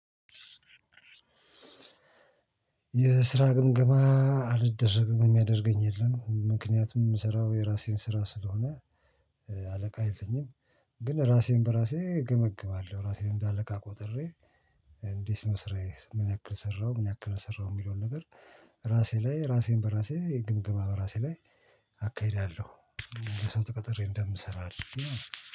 የስራ ግምገማ አልደረግም የሚያደርገኝ የለም ምክንያቱም የምስራው የራሴን ስራ ስለሆነ አለቃ የለኝም ግን ራሴን በራሴ እገመግማለሁ ራሴን እንደ አለቃ ቆጥሬ እንዴት ነው ስራዬ? ምን ያክል ሰራሁ? ምን ያክል አልሰራሁም? የሚለውን ነገር ራሴ ላይ ራሴን በራሴ ግምገማ በራሴ ላይ አካሄዳለሁ ለሰው ተቀጥሬ እንደምሰራ